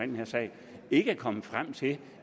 den her sag ikke er kommet frem til